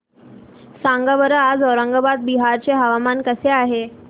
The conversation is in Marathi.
सांगा बरं आज औरंगाबाद बिहार चे हवामान कसे आहे